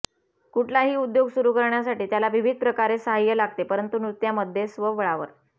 कुठलाही उद्योग सुरू करण्यासाठी त्याला विविध प्रकारे साह्य लागते परंतु नृत्यामध्ये स्वबळावर